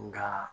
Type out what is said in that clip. Nka